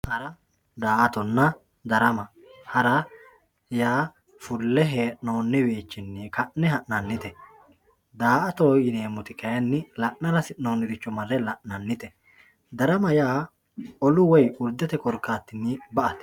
Hara daa`atona harama hara yaa fulle henoni wiichini fulle hananite baa`atoho yinemoti layini la`nara hasinoniricho marre la`nanite darama yaa olu woyi wolirichini daa`atate